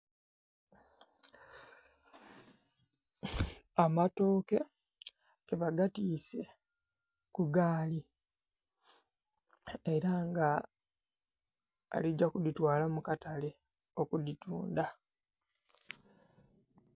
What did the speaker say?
Amatooke ke bagatiise ku gaali era nga ali gya kudhitwala mu katale okudhitundha.